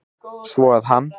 Svo að hann.